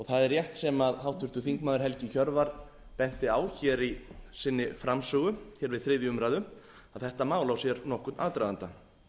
það er rétt sem háttvirtur þingmaður helgi hjörvar benti á hér í sinni framsögu hér við þriðju umræðu að þetta mál á sér nokkurn aðdraganda það